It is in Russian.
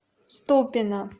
ступино